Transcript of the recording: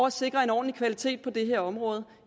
at sikre en ordentlig kvalitet på det her område